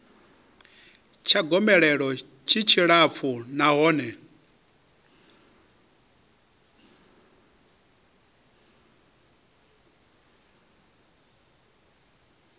tsha gomelelo tshi tshilapfu nahone